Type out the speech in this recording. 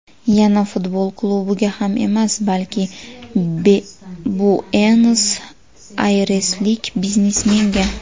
Yana futbol klubiga ham emas, balki, Buenos-Ayreslik biznesmenga.